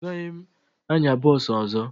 Agaghị m anya bọọsụ ọzọ